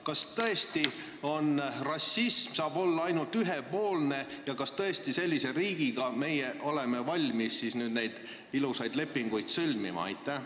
Kas tõesti saab rassism olla ainult ühepoolne ja kas me tõesti oleme valmis sellise riigiga neid ilusaid lepinguid sõlmima?